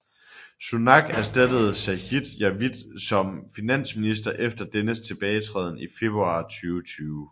Sunak erstattede Sajid Javid som finansminister efter dennes tilbagetræden i februar 2020